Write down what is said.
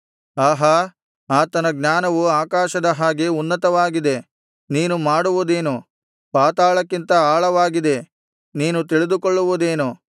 ಆಹಾ ಆತನ ಜ್ಞಾನವು ಆಕಾಶದ ಹಾಗೆ ಉನ್ನತವಾಗಿದೆ ನೀನು ಮಾಡುವುದೇನು ಪಾತಾಳಕ್ಕಿಂತ ಆಳವಾಗಿದೆ ನೀನು ತಿಳಿದುಕೊಳ್ಳುವುದೇನು